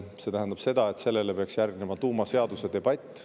See tähendab seda, et sellele peaks järgnema tuumaseaduse debatt.